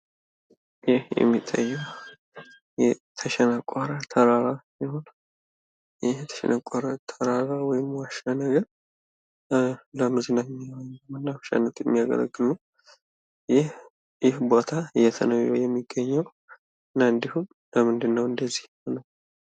ይህ የሚታየዉ የተሸነቆረ ተራራ ሲሆን ይህ የተሸነቆረ ተራራ ወይም ዋሻ ነገር ለመዝናኛነት እና ለመናፈሻነት የሚያገለግል ነዉ። ይህ ቦታ የት ነዉ የሚገኘዉ? እና ደግሞ በምንድን ነዉ እንደዚህ የሆነዉ?